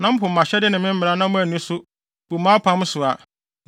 na mopo mʼahyɛde ne me mmara na moanni so, bu mʼapam so a,